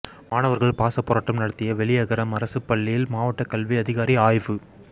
மாணவர்கள் பாசப்போராட்டம் நடத்திய வெளியகரம் அரசுப்பள்ளியில் மாவட்ட கல்வி அதிகாரி ஆய்வு